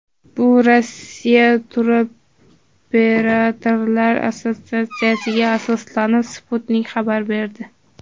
Bu Rossiya Turoperatorlar assotsiatsiyasiga asoslanib, Sputnik xabar berdi .